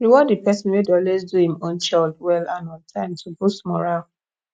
reward di person wey dey always do im own chore well and on time to boost morale